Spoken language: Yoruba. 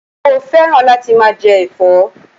Mo féràn láti máa je èfó